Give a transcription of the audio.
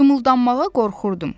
Qımıldanmağa qorxurdum.